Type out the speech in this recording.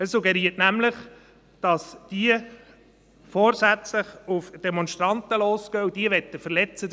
Er suggeriert nämlich, dass diese vorsätzlich auf Demonstranten losgehen und diese verletzen wollen.